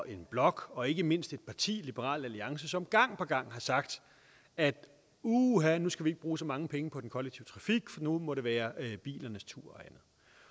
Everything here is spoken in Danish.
en blok og ikke mindst et parti liberal alliance som gang på gang har sagt at uha nu skal vi ikke bruge så mange penge på den kollektive trafik for nu må det være bilernes tur